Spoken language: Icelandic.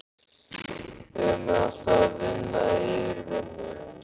Eigum við alltaf að vinna yfirvinnu?